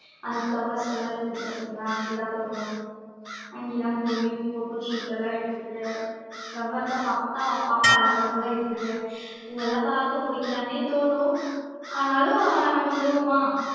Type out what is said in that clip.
அந்த flowers எல்லாம் இருக்கும் பாத்தீங்களா அங்க எல்லாம் போனோம் அங்க எல்லாம் போயி photoshoot எல்லாம் எடுத்திட்டு flower எல்லாம் பாக்க அழகழகா இருக்கு பூவெல்லாம் பார்க்க பறிக்கலான்னே தோணும் ஆனாலும் நம்ம விடுவோமா